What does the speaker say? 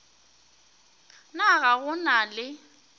na ga go na le